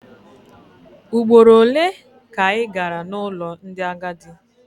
Ugboro ole ka ị gara n'ụlọ ndị agadi?